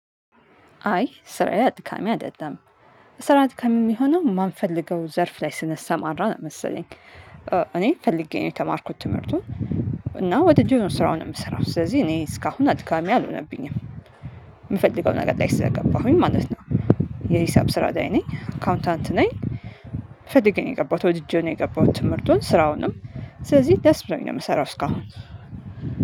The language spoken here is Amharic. አይ ስራዬ አድካሚ አደለም። ስራ አድካሚ የሚሆነው የማንፈልገው ዘርፍ ላይ ስነሰማራ ነው መሰለኝ እኔ ፈልጌ ነው የተማርኩት ትምህርቱን እና ወድጄው ነው ስራውን የምሰራው ስለዚህ እኔ እስካሁን አድካሚ አልሆነብኝም። የምፈልገው ነገር ላይ ስለገባሁኝ ማለት ነው። የሂሳብ ስራ ላይ ነኝ አካውንታንት ነኝ ፈለጌው ነው የገባሁት ወድጄ ነው የገባሁት ትምህርቱን ስራውንም ስለዚህ ደስ ብሎኝ ነው የምሰራው እስካሁን።